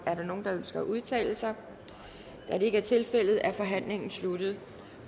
er der nogen der ønsker at udtale sig da det ikke er tilfældet er forhandlingen sluttet